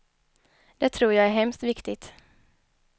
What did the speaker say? Det tror jag är hemskt viktigt.